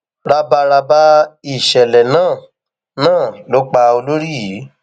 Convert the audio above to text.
ràbàràbà ìṣẹlẹ náà náà ló pa olórí yìí